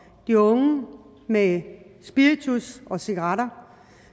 de unge med spiritus og cigaretter